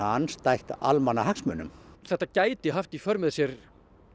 andstætt almannahagsmunum þetta gæti haft í för með sér